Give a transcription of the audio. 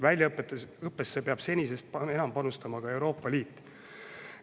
Väljaõppesse peab senisest enam panustama ka Euroopa Liit.